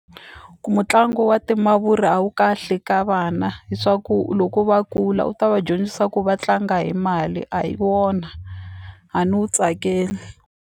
Ku mutlangi wa timavuri a wu kahle ka vana hi swa ku loko va kula u ta va dyondzisa ku va tlanga hi mali a hi wona a ni wu tsakeli.